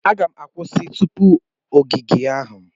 M ga-akwụsị tupu ogige ahụ.